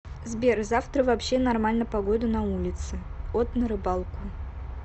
сбер завтра вообще нормально погода на улице от на рыбалку